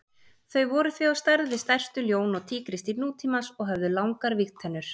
Þau voru því á stærð við stærstu ljón og tígrisdýr nútímans og höfðu langar vígtennur.